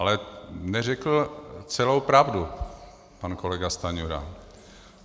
Ale neřekl celou pravdu pan kolega Stanjura.